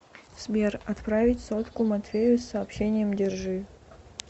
сбер отправить сотку матвею с сообщением держи